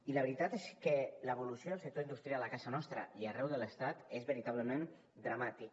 i la veritat és que l’evolució del sector industrial a casa nostra i arreu de l’estat és veritablement dramàtica